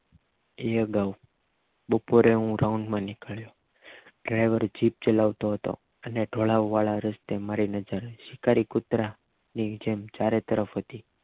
એ અગાઉ બપોરે હું રાઉન્ડમાં નીકળ્યો ડ્રાઇવર જીપ ચલાવતો હતો અને ઢોળાવવાળા રસ્તે મારી નજર શિકારી કૂતરા ની જેમ ચરેતરફ હતી